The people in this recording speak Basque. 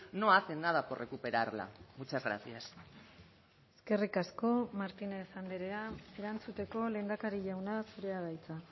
no hacen nada por recuperarla muchas gracias eskerrik asko martínez andrea erantzuteko lehendakari jauna zurea da hitza